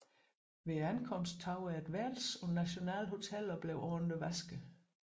Ved ankomsten tog jeg et værelse på National Hotel og blev ordentligt vasket